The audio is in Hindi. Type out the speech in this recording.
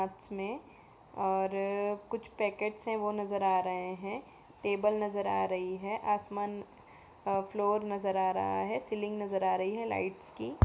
और कुछ पैकेट्स हैं वो नजर आ रहे हैं। टेबल नजर आ रही है। आसमान अ फ्लोर नजर आ रहा है। सीलिंग नजर आ रही है लाइट्स की।